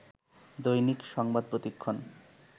দৈনিক সংবাদ প্রতিক্ষণ